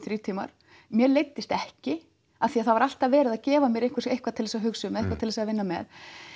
þrír tímar mér leiddist ekki af því það var alltaf verið að gefa mér eitthvað til að hugsa um eitthvað til að vinna með